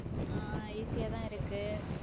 அஹ் easy யாதான் இருக்கு